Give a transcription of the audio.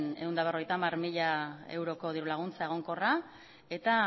ehun eta berrogeita hamar mila euroko diru laguntza egonkorra eta